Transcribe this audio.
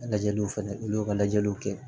Lajɛliw fɛnɛ olu y'u ka lajɛliw kɛ